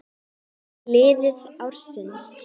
Lið ársins